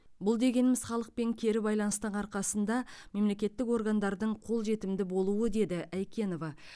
бұл дегеніміз халықпен кері байланыстың арқасында мемлекеттік органдардың қолжетімді болуы деді айкенова